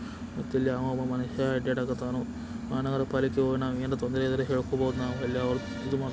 ಗೊತಿಲ್ದೆ ಯಾವ್ದೋ ಒಬ್ಬ ಮನುಷ್ಯ ಅಡ್ಡಾಡಕತ್ತ್ಯಾನು. ಆ ನಾವ್ ಪರಿಚೆಯೊಳಗ್ ನಾವ್ ತೊಂದ್ರೆ ಇದ್ರೆ ಹೇಳ್ಕೊಬೋದು ನಾವು ಅಲ್ಲೇ ಅವು --